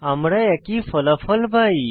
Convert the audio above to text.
আমরা একই ফলাফল পাই